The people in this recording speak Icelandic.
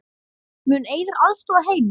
Mun Eiður aðstoða Heimi?